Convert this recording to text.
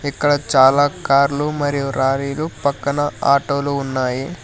ఇక్కడ చాలా కార్లు మరియు రారీలు పక్కన ఆటో లు ఉన్నాయి.